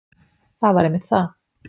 Það var einmitt það.